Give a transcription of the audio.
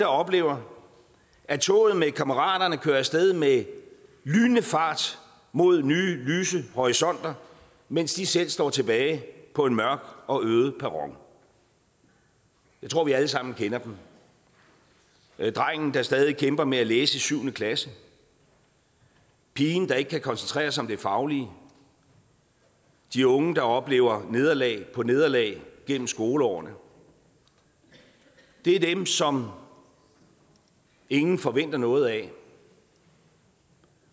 oplever at toget med kammeraterne kører af sted med lynende fart mod nye lyse horisonter mens de selv står tilbage på en mørk og øde perron jeg tror vi alle sammen kender dem drengen der stadig kæmper med at læse i syvende klasse pigen der ikke kan koncentrere sig om det faglige de unge der oplever nederlag på nederlag gennem skoleårene det er dem som ingen forventer noget af